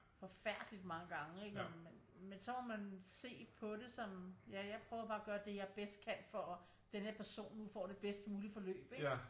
Forfærdeligt mange gange ikke men så må man se på det sådan ja jeg prøver bare at gøre det jeg bedst kan for at denne person nu får det bedst mulige forløb ikke